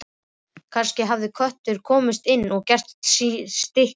Kannski hafði köttur komist inn og gert stykki sín.